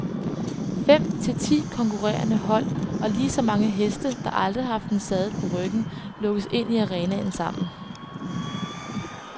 Fem til ti konkurrerende hold og lige så mange heste, der aldrig har haft en saddel på ryggen, lukkes ind i arenaen sammen.